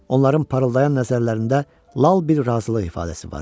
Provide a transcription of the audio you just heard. Onların parıldayan nəzərlərində lal bir razılıq ifadəsi vardı.